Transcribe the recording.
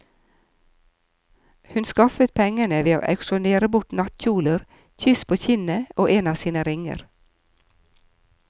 Hun skaffet pengene ved å auksjonere bort nattkjoler, kyss på kinnet og en av sine ringer.